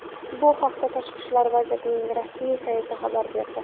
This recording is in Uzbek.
Bu haqda Tashqi ishlar vazirligining rasmiy sayti xabar berdi .